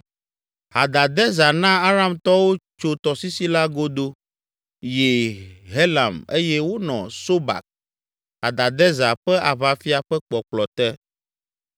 Hadadezer na Aramtɔwo tso tɔsisi la godo yi Helam eye wonɔ Sobak, Hadadezer ƒe aʋafia ƒe kpɔkplɔ te.